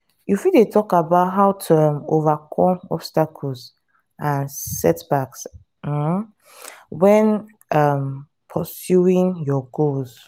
you fit talk about how to um overcome obstacles and setbacks um when um pursuing your goals.